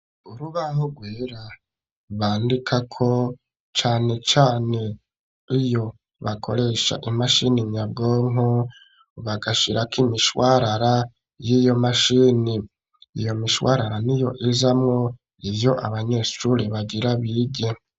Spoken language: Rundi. Urubaho rwera bandikako cane cane iyo bakoresha imashini nyabwonko bagashirako imishwarara y'iyo mashini iyo mishwarara n'iyo izamwo ivyo abanyeshure bagira bige.